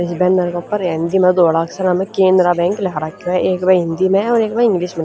इस बैनर क ऊपर हेंदी म धोला अक्षरां म केनरा बैंक लिख राख्यो ह एक ब हिन्दी म और एक ब इंग्लिश म।